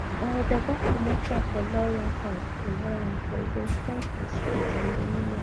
our papa comot cap for lion cap for lion coz dem stand for strength and dominion